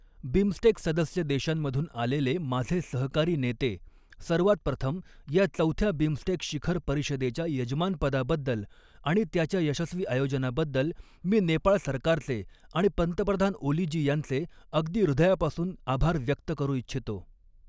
BIMSTEC सदस्य देशांमधून आलेले माझे सहकारी नेते, सर्वात प्रथम या चौथ्या बिमस्टेक शिखर परिषदेच्या यजमानपदाबद्दल आणि त्याच्या यशस्वी आयोजनाबद्दल मी नेपाळ सरकारचे आणि पंतप्रधान ओली जी यांचे अगदी ह़ृदयापासून आभार व्यक्त करू इच्छितो.